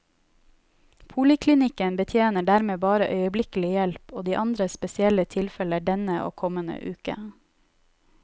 Poliklinikken betjener dermed bare øyeblikkelig hjelp og andre spesielle tilfeller denne og kommende uke.